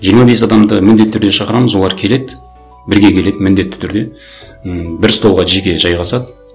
жиырма бес адамды міндетті түрде шақырамыз олар келеді бірге келеді міндетті түрде м бір столға жеке жайғасады